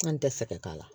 An tɛ fɛ ka k'a la